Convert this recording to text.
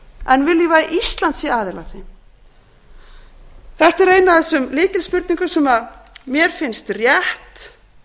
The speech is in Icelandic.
en viljum við að íslandi sé aðili að því þetta er ein af þessum lykilspurningum sem mér finnst rétt